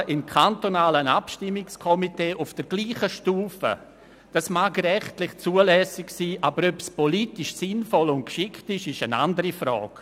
Das Mitmachen in einem kantonalen Abstimmungskomitee auf derselben Stufe mag rechtlich zulässig sein, aber ob es politisch geschickt und sinnvoll ist, ist eine andere Frage.